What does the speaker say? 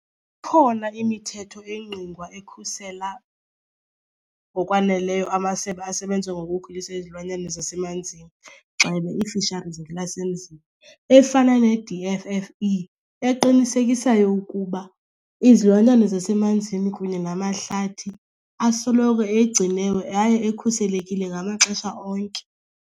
Ikhona imithetho engqingqwa ekhusela ngokwaneleyo amasebe asebenza ngokukhulisa izilwanyana zasemanzini, gxebe ii-fisheries ngelasemzini, efana ne-D_F_F_E eqinisekisayo ukuba izilwanyana zasemanzini kunye namahlathi asoloko egciniwe yaye ekhuselekile ngamaxesha onke.